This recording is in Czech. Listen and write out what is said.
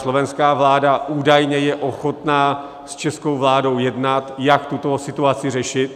Slovenská vláda údajně je ochotna s českou vládou jednat, jak tuto situaci řešit.